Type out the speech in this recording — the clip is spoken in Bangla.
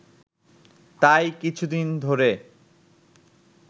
তাই কিছুদিন ধরে